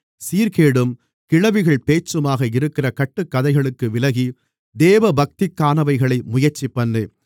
சீர்கேடும் கிழவிகள் பேச்சுமாக இருக்கிற கட்டுக்கதைகளுக்கு விலகி தேவபக்திக்கானவைகளை முயற்சிபண்ணு